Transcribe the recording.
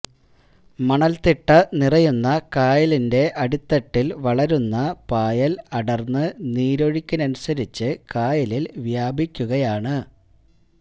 മണല്തിട്ടനിറയുന്ന കായലിന്റെ അടിത്തട്ടില് വളരുന്ന പായല് അടര്ന്ന് നീരൊഴുക്കനുസരിച്ച് കായലില് വ്യാപിക്കുകയാണ്